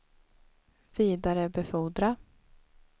vidarebefordra